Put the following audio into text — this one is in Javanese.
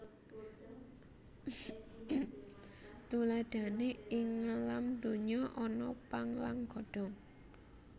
Tuladhané ing ngalam donya ana pang lan godhong